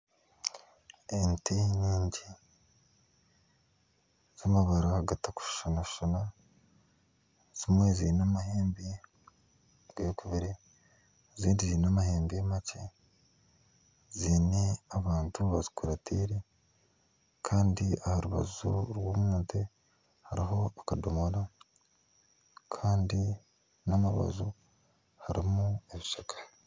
Ente nyingi z'amabara gatakushana . Zimwe zeine amahembe g'ekubire ezindi zeine amahembe makye. Zeine abantu bazikurateire kandi aha rubaju rwazo hariho akadomora Kandi n'omu rubaju harimu ebishaka.